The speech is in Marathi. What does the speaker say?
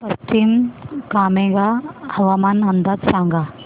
पश्चिम कामेंग हवामान अंदाज सांगा